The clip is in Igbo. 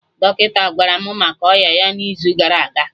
Dọkịta gwara mụ maka ọya ya na izu gara aga